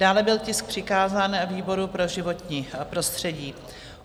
Dále byl tisk přikázán výboru pro životní prostředí.